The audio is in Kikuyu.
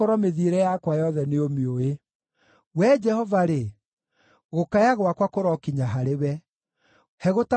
Wee Jehova-rĩ, gũkaya gwakwa kũrokinya harĩwe; he gũtaũkĩrwo kũringana na kiugo gĩaku.